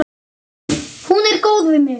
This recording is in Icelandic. Hún er góð við mig.